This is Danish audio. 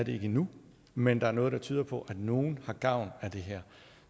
endnu men der er noget der tyder på at nogle har gavn af det her